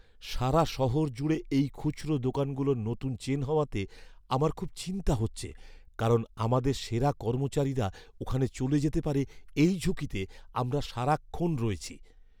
সারা শহর জুড়ে এই খুচরো দোকানগুলোর নতুন চেন হওয়াতে আমার খুব চিন্তা হচ্ছে, কারণ আমাদের সেরা কর্মচারীরা ওখানে চলে যেতে পারে এই ঝুঁকিতে আমরা সারাক্ষণ রয়েছি!